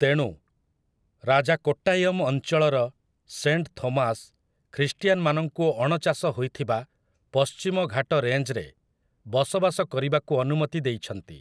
ତେଣୁ, ରାଜା କୋଟ୍ଟାୟମ୍ ଅଞ୍ଚଳର ସେଣ୍ଟ ଥୋମାସ୍ ଖ୍ରୀଷ୍ଟିଆନମାନଙ୍କୁ ଅଣଚାଷ ହୋଇଥିବା ପଶ୍ଚିମ ଘାଟ ରେଞ୍ଜରେ ବସବାସ କରିବାକୁ ଅନୁମତି ଦେଇଛନ୍ତି ।